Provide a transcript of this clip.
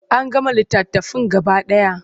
An gama littafin gaba ɗaya.